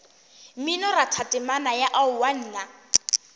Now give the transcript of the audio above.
mminoratho temana ya aowa nna